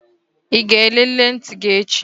Ị ga-elele ntị gị echi?